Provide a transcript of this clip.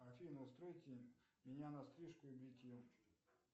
афина устройте меня на стрижку и бритье